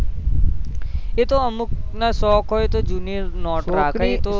એતો અમુક ના શોક હોય તો જૂની નોટો કે